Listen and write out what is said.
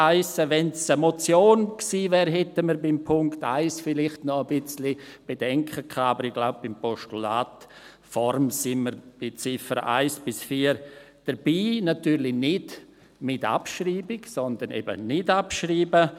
Wenn es eine Motion gewesen wäre, hätten wir beim Punkt 1 vielleicht noch ein wenig Bedenken gehabt, aber ich glaube, bei der Postulatsform sind wir bei den Ziffern 1 bis 4 dabei, natürlich nicht mit Abschreibung, sondern eben nicht abschreiben.